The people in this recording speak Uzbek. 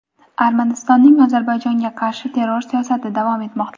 Armanistonning Ozarbayjonga qarshi terror siyosati davom etmoqda.